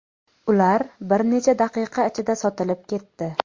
Ular bir necha daqiqa ichida sotilib ketdi.